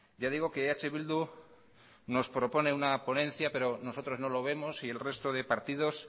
ya digo que eh bildu nos propone una ponencia pero nosotros no lo vemos y el resto de partidos